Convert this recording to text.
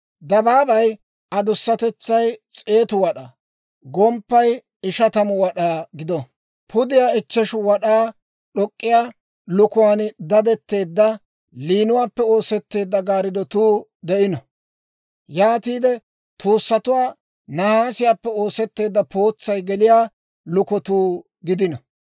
Dabaabay adusatetsay s'eetu wad'aa, gomppay ishatamu wad'aa gido; pudiyaa ichcheshu wad'aa d'ok'k'iyaa liik'uwaan dadetteedda liinuwaappe oosetteedda gaarddotuu de'ino; yaatiide tuusatuwaa nahaasiyaappe oosetteedda pootsay geliyaa lukotuu gidino.